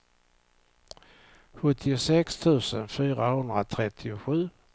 sjuttiosex tusen fyrahundratrettiosju